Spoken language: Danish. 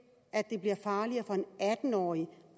farligere for en atten årig